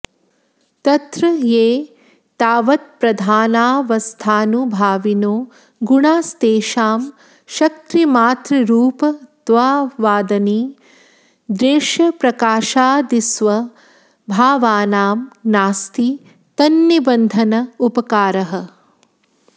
तत्र ये तावत्प्रधानावस्थानुभाविनो गुणास्तेषां शक्तिमात्ररूपत्वादनिर्देश्यप्रकाशादिस्वभावानां नास्ति तन्निबन्धन उपकारः